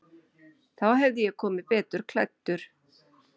Þá hefði ég komið betur klæddur.